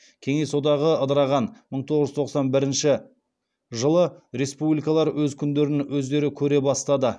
кеңес одағы ыдыраған мың тоғыз жүз тоқсан бірінші жылы республикалар өз күндерін өздері көре бастады